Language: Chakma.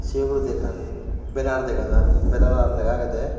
sey oguridi ekan benner deygajar benneran lega agey dey.